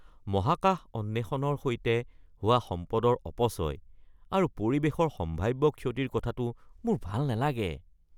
মহাকাশ অন্বেষণৰ সৈতে হোৱা সম্পদৰ অপচয় আৰু পৰিৱেশৰ সম্ভাৱ্য ক্ষতিৰ কথাটো মোৰ ভাল নালাগে।